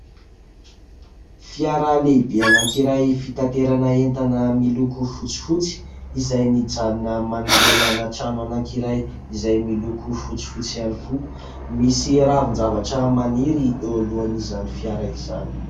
Fiara lehibe anankiray fitanterana entana miloko fotsifotsy izay mijanona manoloana trano anankiray izay miloko fotsifotsy ihany koa. Misy ravin-javatra maniry eo alohan' izany fiara izany.